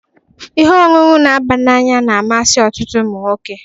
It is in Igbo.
Ihe ọṅụṅụ n'aba n'anya na-amasị ọtụtụ umụnwoke